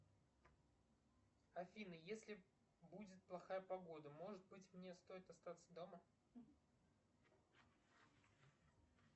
афина если будет плохая погода может быть мне стоит остаться дома